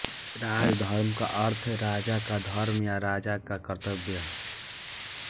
राजधर्म का अर्थ है राजा का धर्म या राजा का कर्तव्य